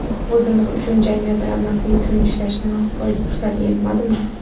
O‘zimiz uchun, jamiyat ravnaqi uchun ishlash fursati yetmadimi?